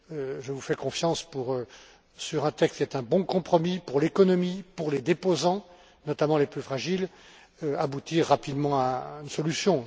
Je vous fais confiance sur un texte qui est un bon compromis pour l'économie, pour les déposants notamment les plus fragiles pour aboutir rapidement à une solution.